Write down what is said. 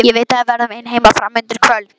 Ég veit að við verðum ein heima fram undir kvöld.